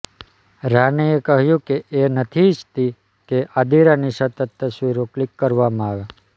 રાનીએ કહ્યું કે એ નથી ઇચ્છતી કે આદિરાની સતત તસવીરો ક્લિક કરવામાં આવે